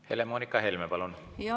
Helle-Moonika Helme, palun!